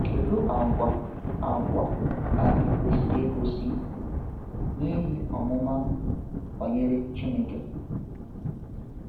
Kedu àgwà àgwà anyị kwesịrị igosi n’ihe ọmụma banyere Chineke?